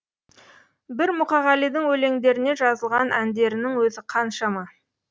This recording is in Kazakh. бір мұқағалидың өлеңдеріне жазылған әндерінің өзі қаншама